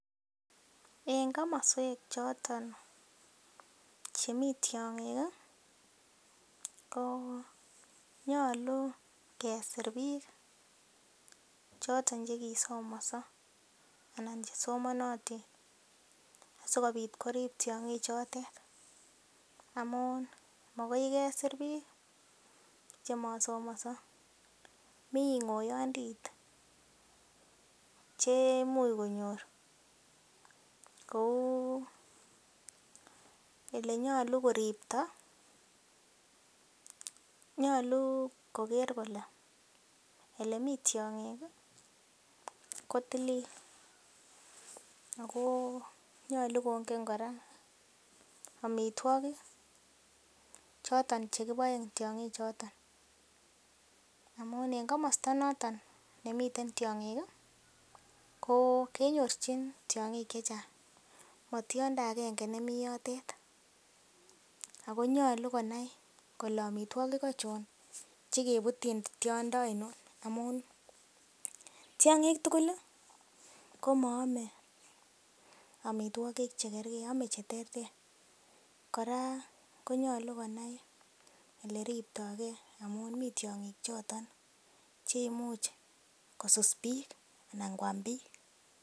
En komoswek choton chemi tiong'ik konyolu kesir biik choto che kisomonso anan chesomanotin asikobit korib tiong'ichotet amun mogoi kesir biik che masomonso. Mi ng'oyondit cheimuch konyor kou ele nyolu koripto. Nyolu koger kole ole mi tiong'ik ko tilil ago nyolu kongen kora amitwogik choton che kiboen tiong'ik choto amun en komosta noton nemiten tiong'ik kenyorchin tiong'ik chechang, motiondo agnge nemi yotet. Ago nyolu konai kole amitwogik achon chekebutyin tiondo ainon. Amun tiong'ik tugul komaame amitwogik chekerge ame che terter kora konyolu konai ele riptoge amun mi tiong'ik choto che imuch kosus biik anan koam biik.